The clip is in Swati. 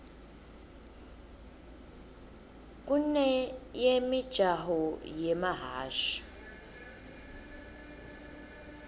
kuneyemijaho yemahhashi